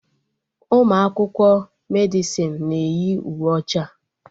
Ụmụ akwụkwọ Medịsịn na-eyi uwe ọcha